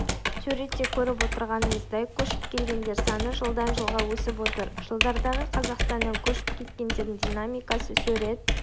суретте көріп отырғанымыздай көшіп келгендер саны жылдан жылға өсіп отыр жылдардағы қазақстаннан көшіп кеткендердің динамикасы сурет